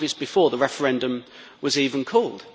It was obvious before the referendum was even called.